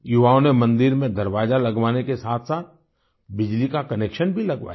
युवाओं ने मंदिर में दरवाजा लगवाने के साथसाथ बिजली का कनेक्शन भी लगवाया